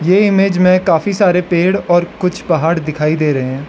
ये इमेज में काफी सारे पेड़ और कुछ पहाड़ दिखाई दे रहे हैं।